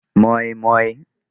moi moi